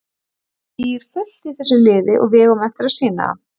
Það býr fullt í þessu liði og við eigum eftir að sýna það.